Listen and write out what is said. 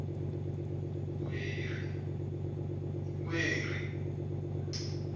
ueri